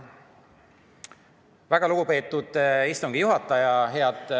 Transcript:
Väga lugupeetud istungi juhataja!